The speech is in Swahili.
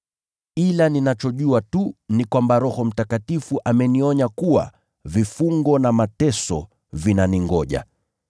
Ila ninachojua tu ni kwamba Roho Mtakatifu amenionya kuwa vifungo na mateso vinaningoja.